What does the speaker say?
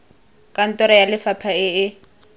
kantoro ya lefapha e e